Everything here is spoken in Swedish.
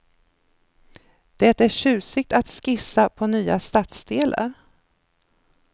Det är tjusigt att skissa på nya stadsdelar.